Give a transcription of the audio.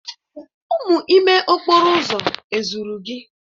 Umu ime okporo uzo ezuru gi?